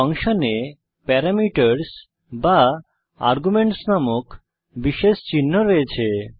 ফাংশনে প্যারামিটারস বা আর্গুমেন্টস নামক বিশেষ চিহ্ন রয়েছে